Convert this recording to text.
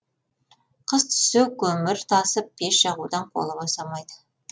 қыс түссе көмір тасып пеш жағудан қолы босамайды